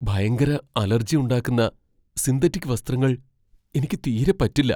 ഭയങ്കര അലർജി ഉണ്ടാക്കുന്ന സിന്തറ്റിക് വസ്ത്രങ്ങൾ എനിക്ക് തീരെ പറ്റില്ല.